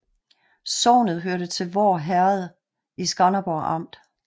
Sognet hørte til Voer Herred i Skanderborg Amt